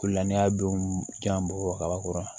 O la ne y'a don ja bɔgɔkɔrɔ